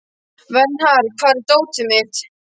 Vernharð, hvar er dótið mitt?